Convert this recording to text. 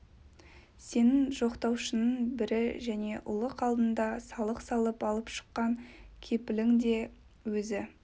сенің жоқтаушыңның бірі және ұлық алдында салық салып алып шыққан кепілің де өзі